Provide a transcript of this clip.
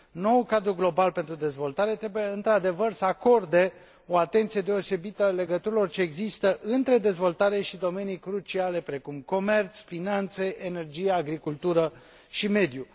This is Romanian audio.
Noul cadru global pentru dezvoltare trebuie, într adevăr, să acorde o atenție deosebită legăturilor ce există între dezvoltare și domenii cruciale precum comerț, finanțe, energie, agricultură și mediu.